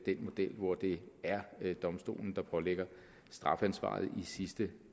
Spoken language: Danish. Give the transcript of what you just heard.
model hvor det er domstolen der pålægger strafansvaret i sidste